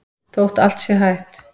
Þótt allt sé hætt?